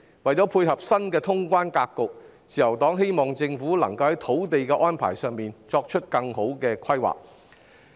為配合新的通關格局，自由黨希望政府能在土地安排上作出更好的規劃。